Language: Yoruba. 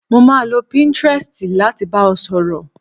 Mo máa lo pinterest láti bá ọ sọ̀rọ̀